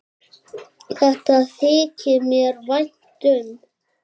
Þetta þykir mér vænt um.